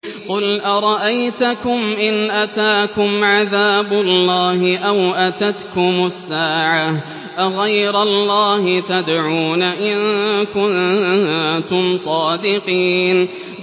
قُلْ أَرَأَيْتَكُمْ إِنْ أَتَاكُمْ عَذَابُ اللَّهِ أَوْ أَتَتْكُمُ السَّاعَةُ أَغَيْرَ اللَّهِ تَدْعُونَ إِن كُنتُمْ صَادِقِينَ